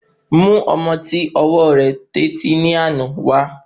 Mú ọmọ ti ọwọ rẹ tó etí ni àná wa